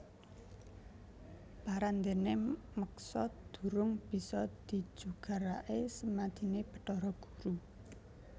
Parandéné meksa durung bisa dijugaraké semadiné Bathara Guru